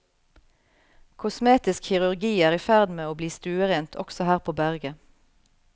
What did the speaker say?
Kosmetisk kirurgi er i ferd med å bli stuerent også her på berget.